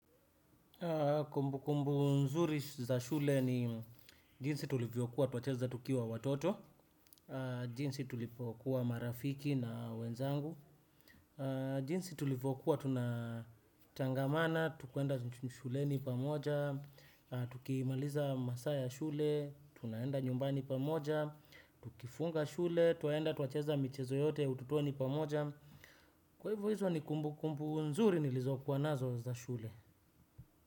Kumbu kumbu nzuri za shule ni jinsi tulivyokuwa twacheza tukiwa watoto, jinsi tulivyokuwa marafiki na wenzangu, jinsi tulivyokuwa tunatangamana tu kuenda shuleni pamoja, tukimaliza masaa ya shule tunaenda nyumbani pamoja, tukifunga shule twaenda twacheza michezo yote ya utotuoni pamoja. Kwa hivyo hizo ni kumbu kumbu nzuri nilizokuwa nazo za shule.